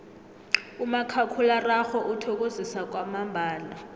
umakhakhulararhwe uthokozisa kwamambala